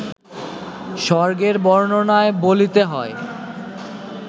স্বর্গের বর্ণনায় বলিতে হয়